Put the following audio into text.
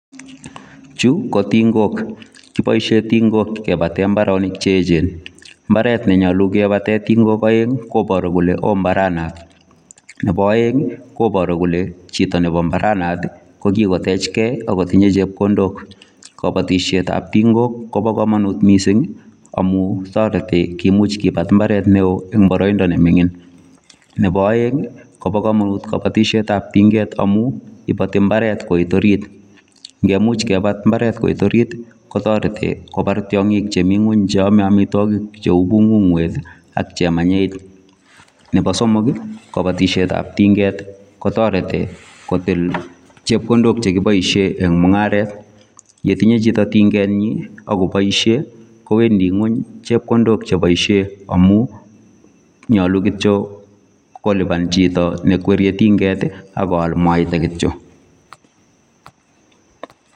Chu ko tingok kiboishe tingok ke bote mbaronik che echen mbaret nee nyoluu me batee tingok aeng koboru kolee oo mbaret nebo aeng koboru kolee chito nebo mbaranatok ko Kikotech kee ako tiyee chepkondok kobotishet ab tingok Kobo komonut mising amuu toreti komuch kebat ibaaret neo eng baroindo nee mining nebo aeng kobokomomut kabatishet ab tinget amuu ibati imaret koit orit nge much kebat imbaret koit orit kotoreti kobar tiang'ik chemii ngu che amee amitwokik cheu bung'unwet nebo somok kobotishet ab tinget ko toreti kotil chepkondok chekii boishei eng mung'aret Nye tinyei chito tinget nyi ako boisei kowendi ng'uny chebkondok che boishei amuu nyoluu kityo koliban chito nee kwerie tinget ak koal mwaita kityo